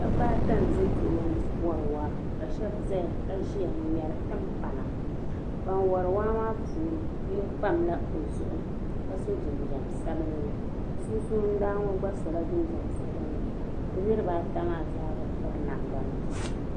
Dabi ata nʒɛ kpe ŋɔ n wari waa.ka shabi ʒɛya ka ʒiya n ŋmeri tim pana. ban wari waa maa puuni yinɔ pala ɔzuɣu. ka so jinjam sabinli ,din suundani ŋɔ gba sola jinjam sabinli. bɛ niribi ata zaa bi piri namda nima.